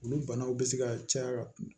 Olu banaw bɛ se ka caya ka tɛmɛ